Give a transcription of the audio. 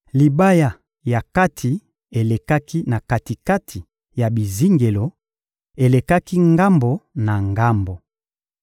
Libaya ya kati elekaki na kati-kati ya bizingelo, elekaki ngambo na ngambo.